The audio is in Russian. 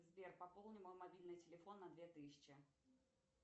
сбер пополни мой мобильный телефон на две тысячи